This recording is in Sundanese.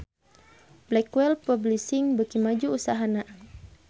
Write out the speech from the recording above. Blackwell Publishing beuki maju usahana